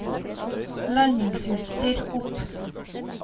landingsutstyr opp